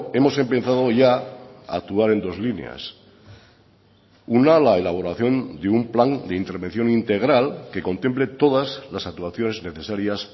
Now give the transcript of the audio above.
hemos empezado ya a actuar en dos líneas una la elaboración de un plan de intervención integral que contemple todas las actuaciones necesarias